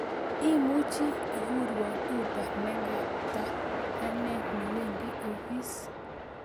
Imuchi igurwan uber negata ane newendi office